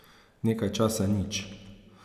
Nekaj časa nič.